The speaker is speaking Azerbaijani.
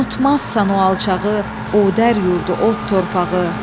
Unutmazsan o alçağı, Odər yurdu, od torpağı.